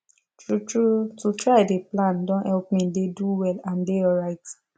true true to try dey plan don help me dey do well and dey alright